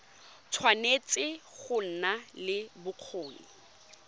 tshwanetse go nna le bokgoni